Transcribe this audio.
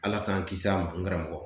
Ala k'an kisi a ma n karamɔgɔ.